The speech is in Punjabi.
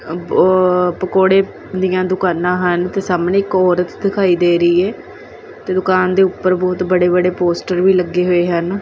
ਅ ਪ ਪਕੋੜੇ ਦੀਆਂ ਦੁਕਾਨਾਂ ਹਨ ਤੇ ਸਾਹਮਣੇ ਇੱਕ ਔਰਤ ਦਿਖਾਈ ਦੇ ਰਹੀ ਐ ਤੇ ਦੁਕਾਨ ਦੇ ਉੱਪਰ ਬਹੁਤ ਬੜੇ ਬੜੇ ਪੋਸਟਰ ਵੀ ਲੱਗੇ ਹੋਏ ਹਨ।